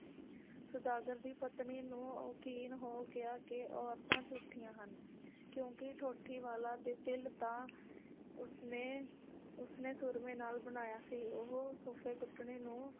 ਸੌਦਾਗਰ ਦੀ ਪਤਨੀ ਨੂੰ ਯਕੀਨ ਹੋ ਗਿਆ ਕਿ ਔਰਤਾਂ ਝੂਠੀਆਂ ਹਨ ਕਿਉਂਕਿ ਠੋਟੀ ਵਾਲਾ ਦੇ ਤਿਲ ਤਾਂ ਉਸਨੇ ਉਸਨੇ ਸੂਰਮੇ ਨਾਲ ਬਣਾਇਆ ਸੀ ਉਹ ਫੱਫੇ ਕੁੱਟਣੀ ਨੂੰ